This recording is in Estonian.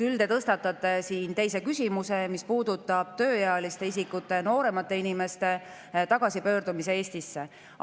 Küll te tõstatate siin teise küsimuse, mis puudutab tööealiste isikute, nooremate inimeste tagasipöördumist Eestisse.